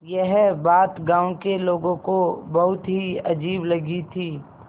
यह बात गाँव के लोगों को बहुत ही अजीब लगी थी